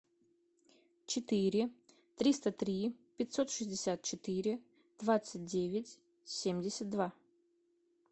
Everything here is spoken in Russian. четыре триста три пятьсот шестьдесят четыре двадцать девять семьдесят два